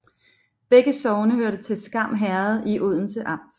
Begge sogne hørte til Skam Herred i Odense Amt